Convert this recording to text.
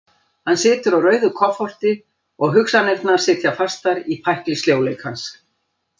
Hann situr á rauðu kofforti og hugsanirnar sitja fastar í pækli sljóleikans.